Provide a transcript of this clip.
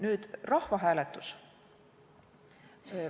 Nüüd rahvahääletus.